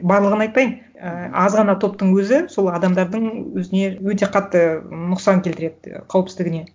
барлығын айтпайын і аз ғана топтың өзі сол адамдардың өзіне өте қатты нұқсан келтіреді қауіпсіздігіне